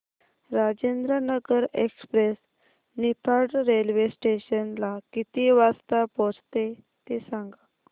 Rajendranagar express Niphad railway station ला किती वाजता पोहचते ते सांग